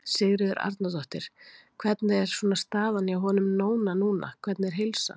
Sigríður Arnardóttir: Hvernig er svona staðan hjá honum Nóna núna, hvernig er heilsan?